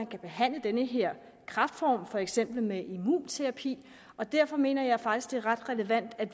kan behandle den her kræftform for eksempel med immunterapi derfor mener jeg faktisk det er ret relevant at